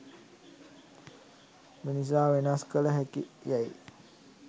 මිනිසා වෙනස් කළ හැකි යැයි